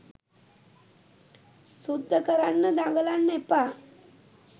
සුද්ද කරන්න දඟලන්න එපා